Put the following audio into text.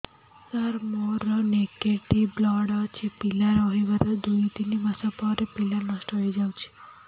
ସାର ମୋର negative blood ଅଛି ପିଲା ରହିବାର ଦୁଇ ତିନି ମାସ ପରେ ପିଲା ନଷ୍ଟ ହେଇ ଯାଉଛି